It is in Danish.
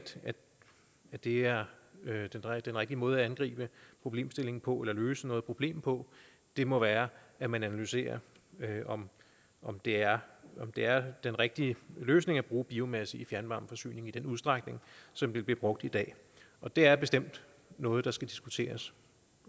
er den rigtige måde at angribe problemstillingen på eller løse noget problem på det må være at man analyserer om det er er den rigtige løsning at bruge biomasse i fjernvarmeforsyningen i den udstrækning som det bliver brugt i dag det er bestemt noget der skal diskuteres